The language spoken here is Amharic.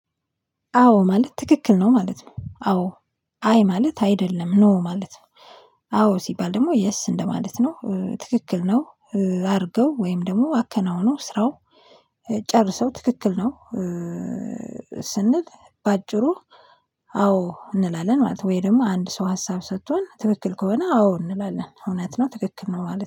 አዎ ማለት ትክክል ነው ማለት ነው አዎ አይ ማለት አይደለም ኖ ማለት ነው። አዎ ሲባል ደግሞ የስ እንደማለት ነው ትክክል ነው። አድርገው ወይም ደግሞ አከናውኖ ስራው ጨርሰው ትክክል ነው። ስንል በአጭሩ አዎ እንላለን ማለት ነው። ወይ ደግሞ አንድ ሰው ሀሳብ ስጥቶን ትክክል ከሆነ አዎ እንላለን እውነት ነው ትክክል ነው ማለት ነው